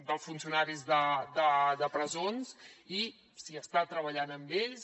dels funcionaris de presons i s’està treballant amb ells